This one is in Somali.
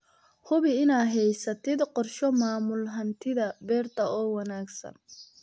Hubi inaad haysatid qorshe maamul hantida beerta oo wanaagsan.